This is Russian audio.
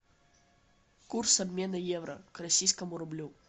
курс обмена евро к российскому рублю